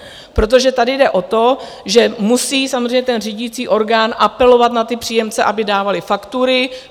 Protože tady jde o to, že musí samozřejmě ten řídící orgán apelovat na ty příjemce, aby dávali faktury.